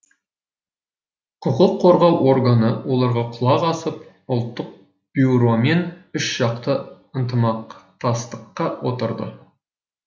құқық қорғау органы оларға құлақ асып ұлттық бюромен үшжақты ынтымақтастыққа отырды